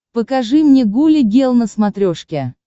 покажи мне гуля гел на смотрешке